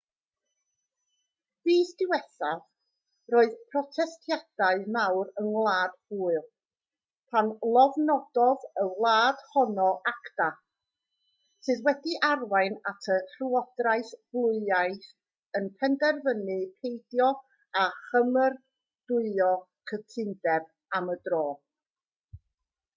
fis diwethaf roedd protestiadau mawr yng ngwlad pwyl pan lofnododd y wlad honno acta sydd wedi arwain at y llywodraeth bwylaidd yn penderfynu peidio â chymeradwyo'r cytundeb am y tro